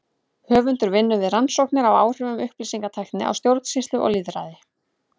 Höfundur vinnur við rannsóknir á áhrifum upplýsingatækni á stjórnsýslu og lýðræði.